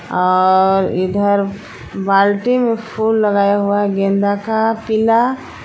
और इधर बाल्टी में फूल लगाया हुआ है गेंदा का पीला।